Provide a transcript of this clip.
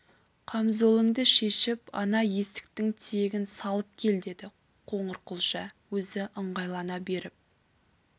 қамзолыңды шешіп ана есіктің тиегін салып кел деді қоңырқұлжа өзі ыңғайлана беріп